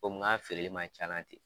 Komi, n ka feereli man c'a la ten.